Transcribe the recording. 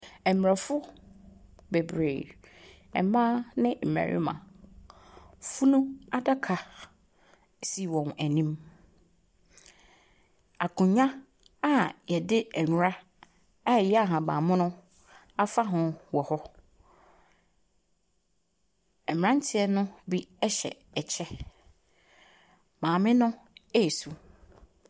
Mmorɔfo bebree, mmaa ne mmarima. Funu adaka si wɔn anim. Akonnwa a wɔde nwera a ɛyɛ ahabammono afa ho wɔ hɔ. Mmeranteɛ no bi hyɛ ɛkyɛ. Maame no resu.